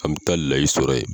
An bɛ taa layi sɔrɔ yen